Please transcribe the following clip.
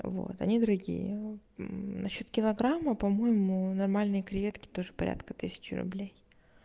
вот они дорогие на счёт килограмма по-моему нормальные креветки тоже порядка тысячи рублей